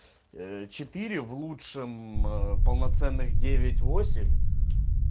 четыре в лучшем полноценных девять восемь